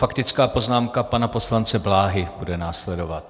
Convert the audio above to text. Faktická poznámka pana poslance Bláhy bude následovat.